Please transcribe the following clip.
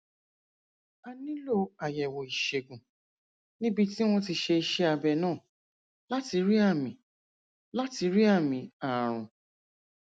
a nílò àyẹwò ìṣègùn níbi tí wọn ti ṣe iṣẹ abẹ náà láti rí àmì láti rí àmì ààrùn